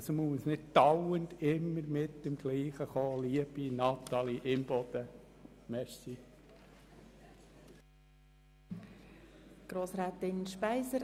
Man muss hier nicht immer mit demselben kommen, liebe Grossrätin Imboden.